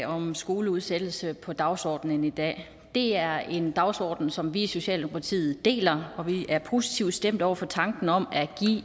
om skoleudsættelse på dagsordenen i dag det er en dagsorden som vi i socialdemokratiet deler og vi er positivt stemt over for tanken om at give